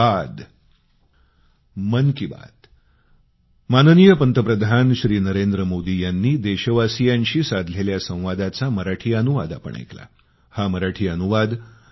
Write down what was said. धन्यवाद